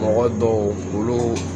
Mɔgɔ dɔw olu